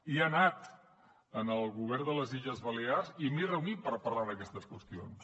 i he anat en el govern de les illes balears i m’he reunit per parlar d’aquestes qüestions